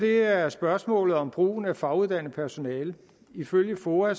er der spørgsmålet om brugen af faguddannet personale ifølge foa